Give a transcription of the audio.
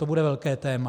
To bude velké téma.